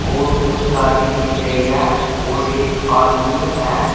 और कुछ गाड़ी दिख रही है और एक आदमी है।